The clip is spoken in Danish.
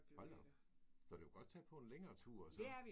Hold da op! Så du kan godt tage på en længere tur og sådan?